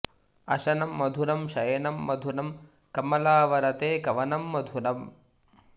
अशनं मधुरं शयनं मधुरं कमलावर ते कवनं मधुरम्